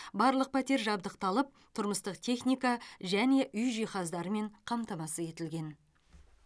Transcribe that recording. барлық пәтер жабдықталып тұрмыстық техника және үй жиһаздарымен қамтамасыз етілген